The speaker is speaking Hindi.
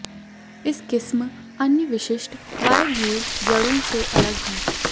इस किस्म अन्य विशिष्ट वायवीय जड़ों से अलग है